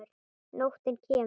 Nóttin kemur.